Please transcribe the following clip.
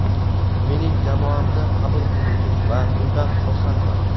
Mening jamoamni qabul qildingiz va bundan xursandman.